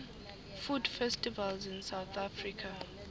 food festivals in south africa